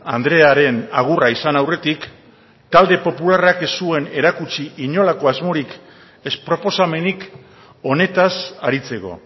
andrearen agurra izan aurretik talde popularrak ez zuen erakutsi inolako asmorik ez proposamenik honetaz aritzeko